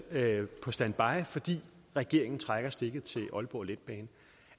på standby fordi regeringen trækker stikker til aalborg letbane